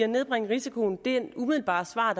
nedbringe risikoen ville det umiddelbare svar